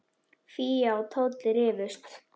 Fía og Tóti rifust.